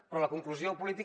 però la conclusió política